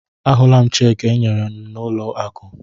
Ahụla m cheekị e nyere m n'ụlọ akụ.